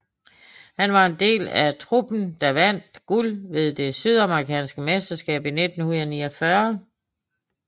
Han var en del af truppen der vandt guld ved det sydamerikanske mesterskab i 1949